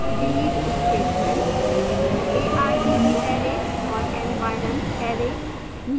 delete statement